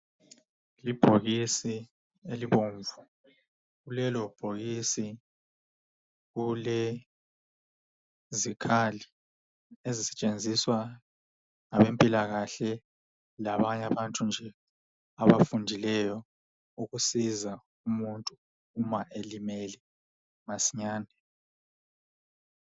Ibhokisi elibomvu, lelobhokisi kulezikhali ezisetshinziswa ngabempilakahle labanye abantu nje, abafundileyo ukusiza umuntu uma elimele masinyane.